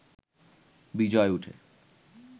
বিজয় উঠে